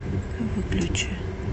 выключи